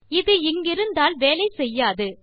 இது இங்கிருந்தால் வேலை செய்யாது